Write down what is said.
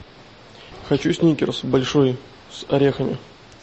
хочу сникерс большой с орехами